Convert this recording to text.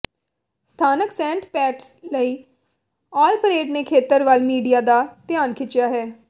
ਸਥਾਨਕ Saint Pat's ਲਈ all parade ਨੇ ਖੇਤਰ ਵੱਲ ਮੀਡੀਆ ਦਾ ਧਿਆਨ ਖਿੱਚਿਆ ਹੈ